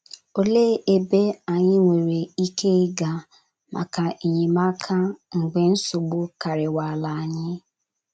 Olee ebe anyị nwere ike ịga maka enyemaka mgbe nsogbu karịwala anyị?